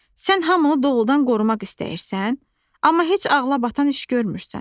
Sən hamını doludan qorumaq istəyirsən, amma heç ağla batan iş görmürsən.